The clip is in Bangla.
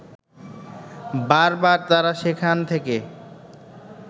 বার বার তারা সেখান থেকে